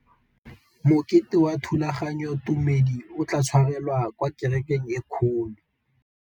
Mokete wa thulaganyôtumêdi o tla tshwarelwa kwa kerekeng e kgolo.